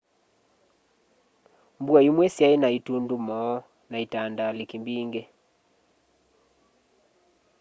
mbua imwe syai na itundumo na itandaliki mbingi